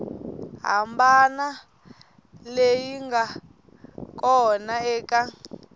hambana leyi nga kona eka